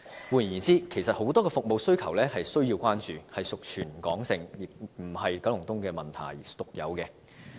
換言之，其實很多區的服務需求也是需要關注的，屬全港而非九龍東獨有的問題。